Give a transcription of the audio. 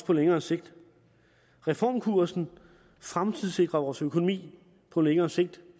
på længere sigt reformkursen fremtidssikrer vores økonomi på længere sigt